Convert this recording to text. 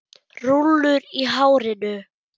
Rúllur í hárinu.